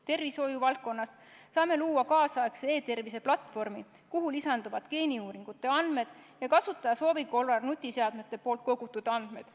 Tervishoiuvaldkonnas saame luua tänapäevase e-tervise platvormi, kuhu lisanduvad geeniuuringute andmed ja kasutaja soovi korral ka nutiseadmete kogutud andmed.